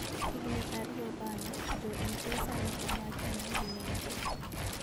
Higini ariyo bang'e, Jo-Ingresa ne omake ma ginege.